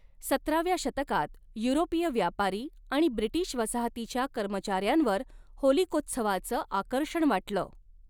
सतराव्या शतकात, युरोपीय व्यापारी आणि ब्रिटिश वसाहतीच्या कर्मचाऱ्यांवर होलिकोत्सवाचं आकर्षण वाटलं.